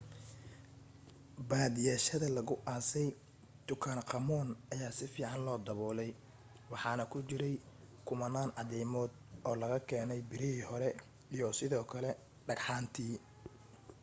badiyaa shayyada lagu aasay tutankhamun ayaa si fiican loo dabolay waxaana ku jiray kumanaan cadaymod oo laga keenay birihii hore iyo sidoo kale dhagxaantii